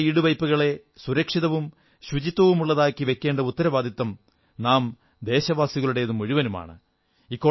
ചരിത്ര ഈടുവയ്പ്പുകളെ സുരക്ഷിതവും ശുചിത്വമുള്ളതുമാക്കി വയ്ക്കേണ്ട ഉത്തരവാദിത്വം നാം ദേശവാസികളുടേതു മുഴുവനുമാണ്